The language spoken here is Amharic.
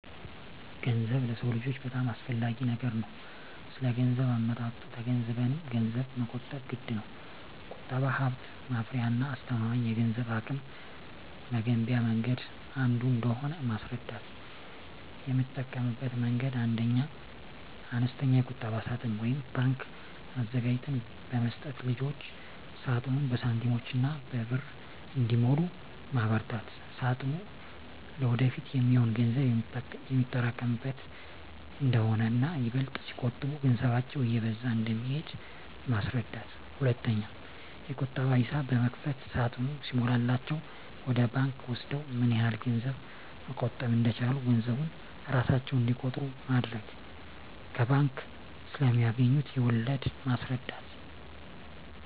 ገንዘብ ለሰው ልጆች በጣም አስፈላጊ ነገር ነው ስለገንዘብ አመጣጡ ተገንዝበንም ገንዘብን መቆጠብ ግድነው። ቁጠባ ሀብት ማፍሪያና አስተማማኝ የገንዘብ አቅም መገንቢያ መንገድ አንዱ እንደሆነ ማስረዳት: የምጠቀምበት መንገድ 1ኛ, አነስተኛ የቁጠባ ሳጥን (ባንክ) አዘጋጅተን በመስጠት ልጆች ሳጥኑን በሳንቲሞችና በብር እንዲሞሉ ማበርታት ሳጥኑ ለወደፊት የሚሆን ገንዘብ የሚያጠራቅሙበት እንደሆነና ይበልጥ ሲቆጥቡ ገንዘባቸው እየበዛ እንደሚሄድ ማስረዳት። 2ኛ, የቁጠባ ሂሳብ በመክፈት ሳጥኑ ሲሞላላቸው ወደ ባንክ ወስደው ምን ያህል ገንዘብ መቆጠብ እንደቻሉ ገንዘቡን እራሳቸው እንዲቆጥሩ ማድረግ። ከባንክ ስለማገኙት ወለድ ማስረዳት።